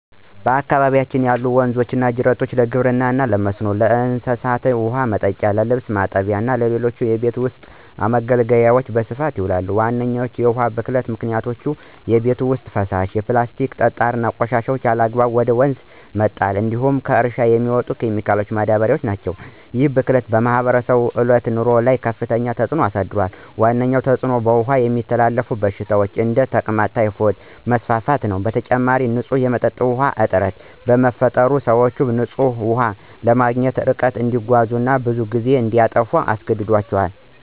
በአካባቢዬ ያሉ ወንዞችና ጅረቶች ለግብርና መስኖ፣ ለእንስሳት ውኃ ማጠጫ፣ ለልብስ ማጠብ እና ለሌሎች የቤት ውስጥ አገልግሎት በስፋት ይውላሉ። ዋነኞቹ የውሃ ብክለት ምክንያቶች የቤት ውስጥ ፍሳሽ፣ የፕላስቲክና ጠጣር ቆሻሻ ያለአግባብ ወደ ወንዝ መጣል እንዲሁም ከእርሻ የሚመጡ ኬሚካሎችና ማዳበሪያዎች ናቸው። ይህ ብክለት በማህበረሰቡ ዕለታዊ ኑሮ ላይ ከፍተኛ ተጽዕኖ አሳድሯል። ዋነኛው ተጽዕኖ በውሃ የሚተላለፉ በሽታዎች (እንደ ተቅማጥና ታይፎይድ) መስፋፋት ነው። በተጨማሪም፣ ንጹህ የመጠጥ ውሃ እጥረት በመፈጠሩ፣ ሰዎች ንጹህ ውሃ ለማግኘት ርቀት እንዲጓዙ እና ብዙ ጊዜ እንዲያጠፉ ያስገድዳቸዋል።